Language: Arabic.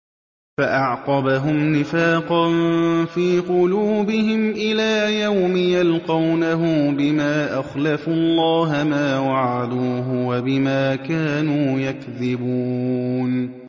فَأَعْقَبَهُمْ نِفَاقًا فِي قُلُوبِهِمْ إِلَىٰ يَوْمِ يَلْقَوْنَهُ بِمَا أَخْلَفُوا اللَّهَ مَا وَعَدُوهُ وَبِمَا كَانُوا يَكْذِبُونَ